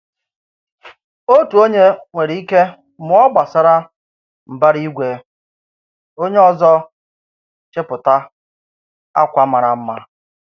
Òtù onye nwéré ike mụọ gbásárá mbara ígwé, onye ọzọ chepụta ákwà màrà mmá.